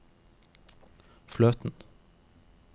fløten